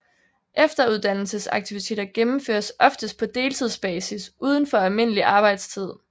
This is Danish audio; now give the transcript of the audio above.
Efteruddannelsesaktiviteter gennemføres oftest på deltidsbasis uden for almindelig arbejdstid